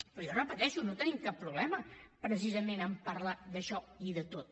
però jo ho repeteixo no tenim cap problema precisament en parlar d’això i de tot